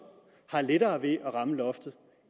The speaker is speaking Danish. har lettere ved at ramme loftet